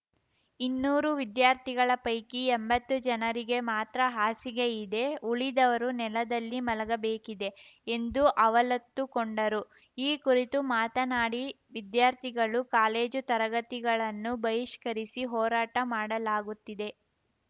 ಇನ್ನೂರು ವಿದ್ಯಾರ್ಥಿಗಳ ಪೈಕಿ ಎಂಬತ್ತು ಜನರಿಗೆ ಮಾತ್ರ ಹಾಸಿಗೆ ಇದೆ ಉಳಿದವರು ನೆಲದಲ್ಲಿ ಮಲಗಬೇಕಿದೆ ಎಂದು ಅವಲತ್ತುಕೊಂಡರು ಈ ಕುರಿತು ಮಾತನಾಡಿ ವಿದ್ಯಾರ್ಥಿಗಳು ಕಾಲೇಜು ತರಗತಿಗಳನ್ನು ಬಹಿಷ್ಕರಿಸಿ ಹೋರಾಟ ಮಾಡಲಾಗುತ್ತಿದೆ